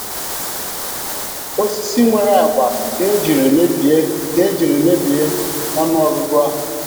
Osisi nwere agba ka ejiri mebie ka ejiri mebie ọnụ ọgụgụ ahụ